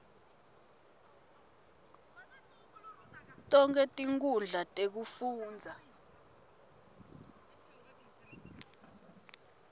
tonkhe tinkhundla tekufundza